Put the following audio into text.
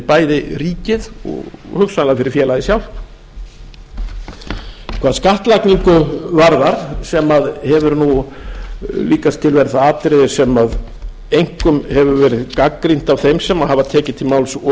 bæði ríkið og hugsanlega fyrir félagið sjálft hvað skattlagningu varðar sem hefur líkast til verið það atriði sem einkum hefur verið gagnrýnt af þeim sem hafa tekið til máls